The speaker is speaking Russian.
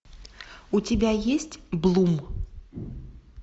у тебя есть блум